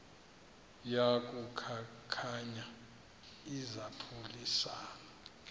yaku khankanya izaphuselana